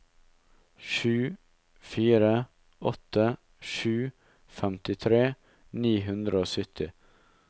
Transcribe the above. sju fire åtte sju femtitre ni hundre og sytti